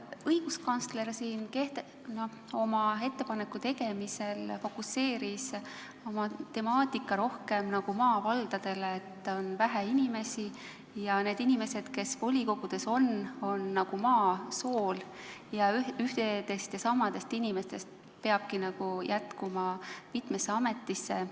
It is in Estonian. Õiguskantsler oma ettepaneku tegemisel fokuseeris temaatika rohkem maavaldadele, et seal on vähe inimesi ja need inimesed, kes volikogudes on, on nagu maa sool ning ühtedest ja samadest inimestest peabki jätkuma mitmesse ametisse.